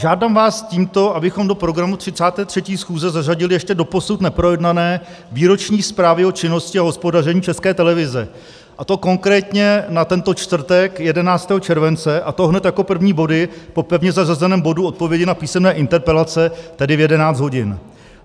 Žádám vás tímto, abychom do programu 33. schůze zařadili ještě doposud neprojednané výroční zprávy o činnosti a hospodaření České televize, a to konkrétně na tento čtvrtek 11. července, a to hned jako první body po pevně zařazeném bodu odpovědi na písemné interpelace, tedy v 11 hodin.